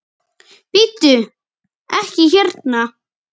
Bíddu. ekki hérna!